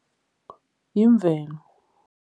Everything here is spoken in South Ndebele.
Yimvelo.